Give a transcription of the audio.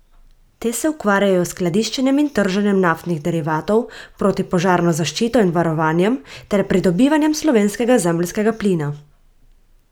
Te se ukvarjajo s skladiščenjem in trženjem naftnih derivatov, protipožarno zaščito in varovanjem ter pridobivanjem slovenskega zemeljskega plina.